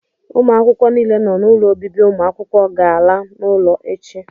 ụmụ akwụkwọ niile nọ n'ụlọ obibi ụmụ akwụkwọ ga-ala n'ụlọ echi